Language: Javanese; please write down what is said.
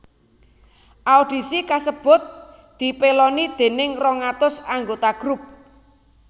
Audisi kasebut dipèloni déning rong atus anggota grup